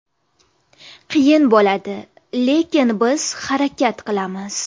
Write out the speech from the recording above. Qiyin bo‘ladi, lekin biz harakat qilamiz.